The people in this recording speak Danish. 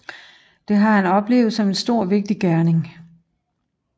Det har han oplevet som en stor og vigtig gerning